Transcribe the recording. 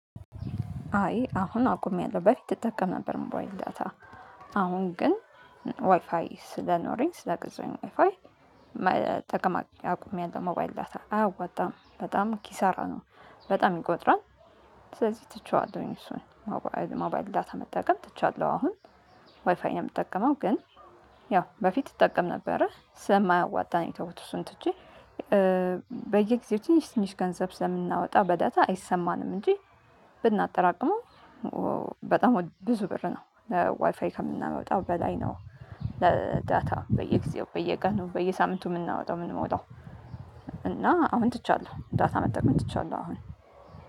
አይ አሁን አቁም ያለው በፊት ትጠቀም ነበር ሞባይል እንዳታ። አሁን ግን ዋይፋይ ስለኖረኝ ስለ ገዛው ፋይ። ጠቅማ አቁሚያን ደግሞ ባይል ዳታ አያዋጣም በጣም ኪሳራ ነው። በጣም ይቆጥራል ስለዚህ ትቼዋለሁኝ እሱን። ሞባይል ዳታ መጠቀም ትቼዋለሁ አሁን ዋይፋይ ነው የምትጠቀመው ግን። ያው በፊት ይጠቀም ነበረ ስለ ማያዋጣኝ የተወቱስን ትቼ። በየጊዜው ትንሽ ትንሽ ገንዘብ ስለምናወጣ በዳታ አይሰማንም እንጂ ብናጠራቅመው በጣም ብዙ ብር ነው ለዋይፋይ ከምናወጣው በላይ ነው። ለዳታ በየጊዜው በየቀኑ በየሳምንቱ የምናወጣው የምንመውጣው። እና አሁን ትቻለሁ ዳታ መጠቀም ትቻለሁ አሁን።